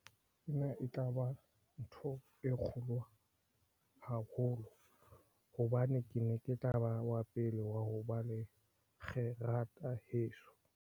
E ne e tla ba ntho e kgolo, haholoholo hobane ke ne ke tla ba wa pele wa ho ba le kgerata heso.